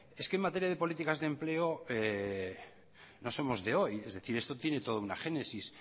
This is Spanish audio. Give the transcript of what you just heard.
es que en materias de políticas de empleo no somos de hoy es decir esto tiene toda una génesis